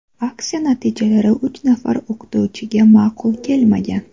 Aksiya natijalari uch nafar o‘qituvchiga ma’qul kelmagan.